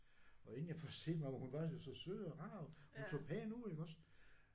Og inden jeg får set mig om og hun var så så sød og rar og hun så pæn ud iggås